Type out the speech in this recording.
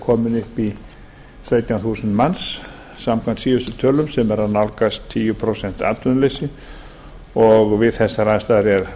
upp í sautján þúsund manns samkvæmt nýjustu tölum sem er að nálgast tíu prósent atvinnuleysi og við þessar aðstæður er